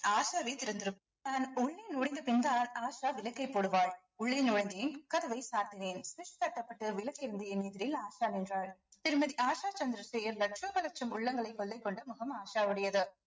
ஆஷாவே திறந்திரும் தான் உள்ளே நுழைந்த பின்பு ஆஷா விளக்கை போடுவாள் உள்ளே நுழைந்தேன் கதவை சாத்தினேன் என் எதிரில் ஆஷா நின்றாள் திருமதி ஆஷா சந்திரசேகர் லட்சம் பல லட்சம் உள்ளங்களை கொள்ளை கொண்ட முகம் ஆஷா உடையது